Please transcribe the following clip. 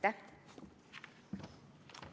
Aitäh!